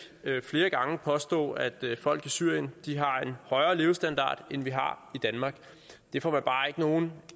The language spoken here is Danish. flere gange påstå at folk i syrien har en højere levestandard end vi har i danmark det får man bare ikke nogen